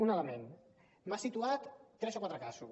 un element m’ha situat tres o quatre casos